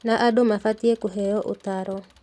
Na andũ mabatiĩ kũheo ũtaaro